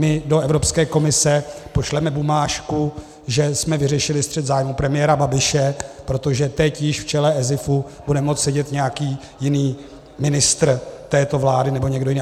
My do Evropské komise pošleme bumážku, že jsme vyřešili střet zájmů premiéra Babiše, protože teď již v čele ESIFu bude moci sedět nějaký jiný ministr této vlády nebo někdo jiný.